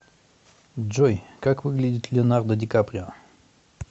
джой как выглядит леонардо ди каприо